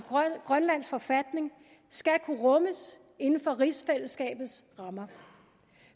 grønlandsk forfatning skal kunne rummes inden for rigsfællesskabets rammer